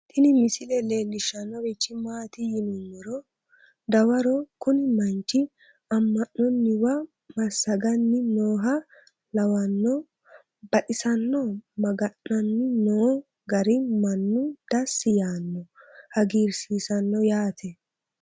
Tini misile leellishshannorichi maati yinummoro dawaro kuni manchi amma'nonniwa masaganni nooha lawanno baxisanno maga'nanni noo gari mannu dassi yaanno hagiirisiisanno yaate